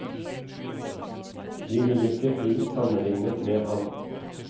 De vil ikke bli sammenlignet med ham.